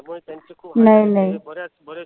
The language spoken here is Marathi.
नाही नाही.